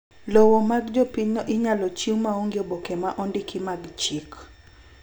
Lowo mag jopinyno inyalo chiw maonge oboke ma ondiki mag chik.